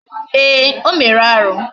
Ee, o mere arụ